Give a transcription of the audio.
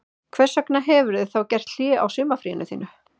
Hvers vegna hefurðu þá gert hlé á sumarfríinu þínu